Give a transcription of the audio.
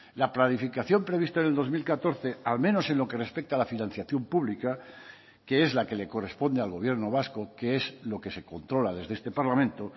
la planificación prevista en el dos mil catorce al menos en lo que respecta a la financiación pública que es la que le corresponde al gobierno vasco que es lo que se controla desde este parlamento